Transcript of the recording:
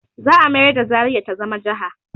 Za a mayar da zaria ta zama jaha